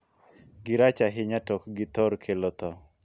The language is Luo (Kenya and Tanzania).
Girach ahinya, to ok githor kelo thoo.